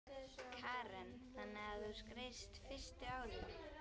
Karen: Þannig að þú skreiðst fyrstu árin?